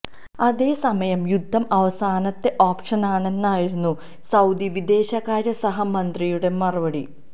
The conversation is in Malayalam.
അതേസമയം യുദ്ധം അവസാനത്തെ ഓപ്ഷനാണെന്നായിരുന്നു സൌദി വിദേശകാര്യ സഹ മന്ത്രിയുടെ മറുപടി